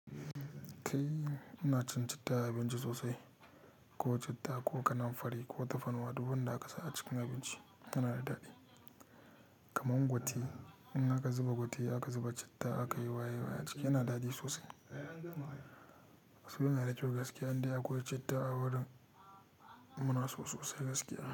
Kai ina cin citta a abinci sosai, ko citta ko kanan fari ko tafarnuwa, duk wanda aka sa a cikin abinci yana da daɗi. Kamar ngote in aka zuba ngote aka zuba citta aka yi waye waye a ciki yana daɗi sosai. So yana da kyau gaske in dai akwai citta a wurin muna so sosai gaske.